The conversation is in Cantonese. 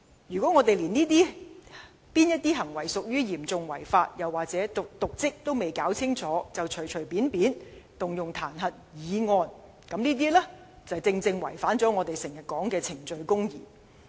如果連哪些行為屬於"嚴重違法"及"瀆職"還未弄清楚，便隨便提出彈劾議案，正正違反了我們經常掛在嘴邊的"程序公義"。